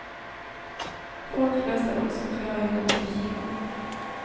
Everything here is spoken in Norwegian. Folk flest er også glad i å gå på kino.